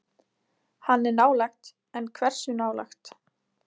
Hann er nálægt en hversu nálægt?